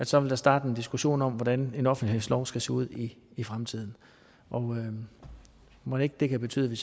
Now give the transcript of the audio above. så vil starte en diskussion om hvordan en offentlighedslov skal se ud i fremtiden mon ikke det kan betyde